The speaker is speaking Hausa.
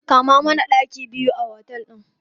Kama mana ɗaki biyu a otel ɗin.